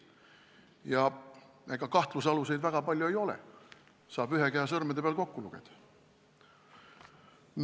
Ja ega kahtlusaluseid väga palju ei ole, need saab ühe käe sõrmedel kokku lugeda.